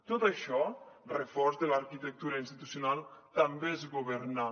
tot això reforç de l’arquitectura institucional també és governar